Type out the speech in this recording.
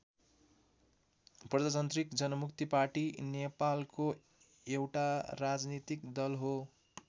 प्रजातान्त्रिक जनमुक्ति पार्टी नेपालको एउटा राजनीतिक दल हो।